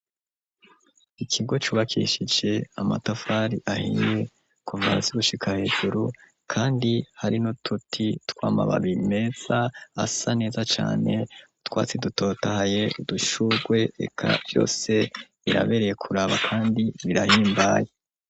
Ikigo cubakishije amatafari ahiye kuva hasi gushika hejuru kandi hari nuduti twamababiye meza asa neza cane twatsi dutotahaye udushurwe reka vyose irabereye kuraba kandi birahimbaye.